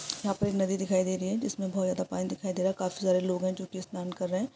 यहाँ पर एक नदी दिखाई दे रही है जिसमें बोहोत ज्यादा पानी दिखाई दे रहा है काफी सारे लोग हैं जो कि स्नान कर रहे हैं।